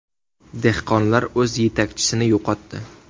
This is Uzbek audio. Dehqonlar o‘z yetakchisini yo‘qotdi.